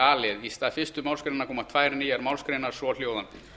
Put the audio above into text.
a í stað fyrstu málsgrein koma tvær nýjar málsgreinar svohljóðandi